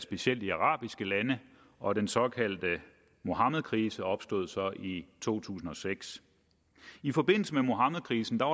specielt i arabiske lande og den såkaldte muhammedkrise opstod så i to tusind og seks i forbindelse med muhammedkrisen var